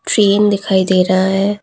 Frame दिखाई दे रहा है।